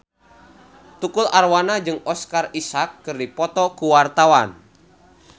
Tukul Arwana jeung Oscar Isaac keur dipoto ku wartawan